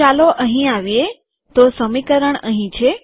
તો ચાલો અહીં આવીએ તો સમીકરણ અહીં છે